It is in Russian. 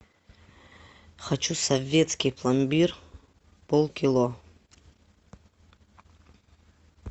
хочу советский пломбир полкило